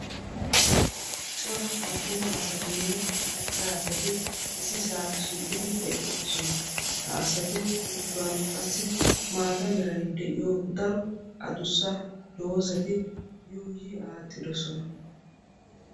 Cora attuma asatinne macca asati issi saa shiiqqidi eqqidosona. ha asatu yuushuwan qassi maata merai de'iyo daro adussa doozati yuuyi aattidosona.